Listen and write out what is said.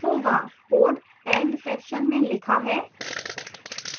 code end section में लिखा है